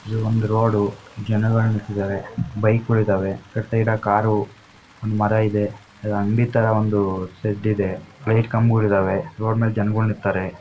ಇದು ಒಂದು ರೋಡ್ ಜನಗಳು ನಿಂತಿದಾರೆ ಬೈಕ್ ಗಳು ಇದಾವೆ ಆಕಡೆ ಸೈಡ್ ಕಾರ್ ಒಂದ ಮರ ಇದೆ ಅಂಗಡಿ ಥರ ಒಂದು ಶೆಡ್ ಇದೆ ಲೈಟ್ ಕಂಬಗಳಿದಾವೆ ರೋಡ್ ಮೇಲೆ ಜನಗಳು ನಿಂತಾರೆ.